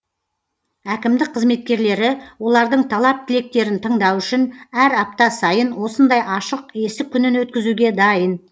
әкімдік қызметкерлері олардың талап тілектерін тыңдау үшін әр апта сайын осындай ашық есік күнін өткізуге дайын